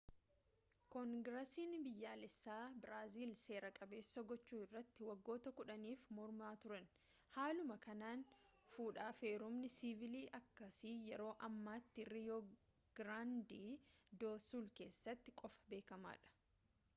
koongirasiin biyyaalessaa biraazil seera-qabeessa gochuu irratti waggoota 10if mormaa turani haaluma kanaan fudhaaf heerumni siivilii akkasii yeroo ammaatti riyoo giraandee doo suul keessatti qofa beekamaadha